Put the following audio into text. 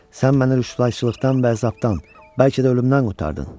Sən məni rəsvahçılıqdan və əzabdan, bəlkə də ölümdən qurtardın.